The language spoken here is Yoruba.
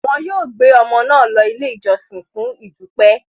Wọn yóò gbé ọmọ náà lọ Ilé-ìjọsìn fún ìdúpẹ́.